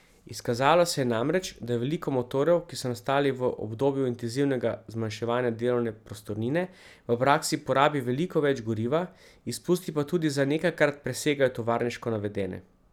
Izkazalo se je namreč, da veliko motorjev, ki so nastali v obdobju intenzivnega zmanjševanja delovne prostornine, v praksi porabi veliko več goriva, izpusti pa tudi za nekajkrat presegajo tovarniško navedene.